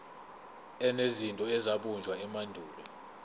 enezinto ezabunjwa emandulo